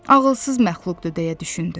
Ağılsız məxluqdu, deyə düşündü.